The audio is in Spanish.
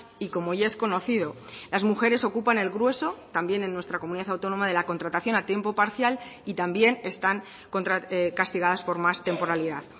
y como ya es conocido las mujeres ocupan el grueso también en nuestra comunidad autónoma de la contratación a tiempo parcial y también están castigadas por más temporalidad